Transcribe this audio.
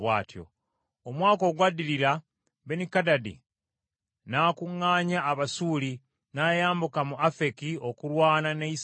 Omwaka ogwaddirira Benikadadi n’akuŋŋaanya Abasuuli, n’ayambuka mu Afeki okulwana ne Isirayiri.